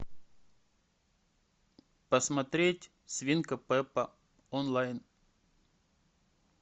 посмотреть свинка пеппа онлайн